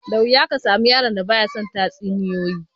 Da wuya ka samu yaron da ba ya son tatsuniyoyi